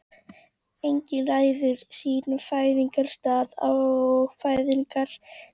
Enginn ræður sínum fæðingarstað og fæðingartíma.